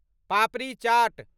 पापड़ी चाट